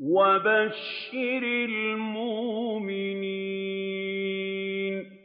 وَبَشِّرِ الْمُؤْمِنِينَ